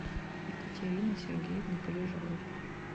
екатерины сергеевны полежаевой